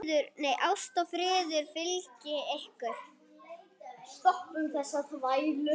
Ást og friður fylgi ykkur.